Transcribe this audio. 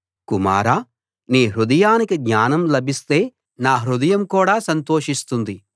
కుమారా నీ హృదయానికి జ్ఞానం లభిస్తే నా హృదయం కూడా సంతోషిస్తుంది